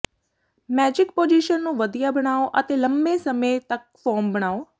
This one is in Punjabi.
ਮੈਜਿਕ ਪੋਜੀਸ਼ਨ ਨੂੰ ਵਧੀਆ ਬਣਾਉ ਅਤੇ ਲੰਮੇ ਸਮੇਂ ਤੱਕ ਫੋਮ ਬਣਾਉ